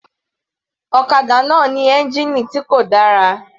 Ọ̀kadà náà ní ẹ́ngìnì tí kò dára.